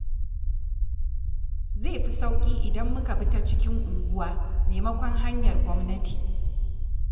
Zai fi sauƙi idan muka bi ta cikin unguwa maimakon hanyar gwamnati.